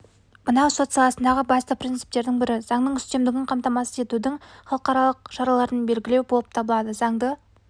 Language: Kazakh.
мынау сот саласындағы басты принцптердің бірі заңның үстемдігін қамтамасыз етудің халықаралық шараларын белгілеу болып табылады заңды